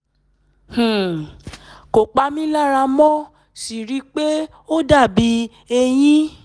um kò pa mí lára mo sì ríi pé ó dàbí eyín